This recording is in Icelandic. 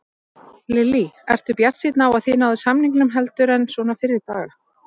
Lillý: Ertu bjartsýnn á að þið náið samningum heldur en svona fyrri daga?